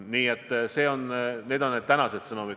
Niisugused on tänased sõnumid.